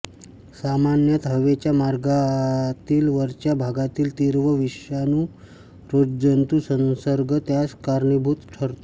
सामान्यत हवेच्या मार्गातील वरच्या भागातील तीव्र विषाणू रोगजंतू संसर्ग त्यास कारणीभूत ठरतो